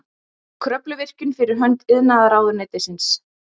Kröfluvirkjun fyrir hönd iðnaðarráðuneytisins.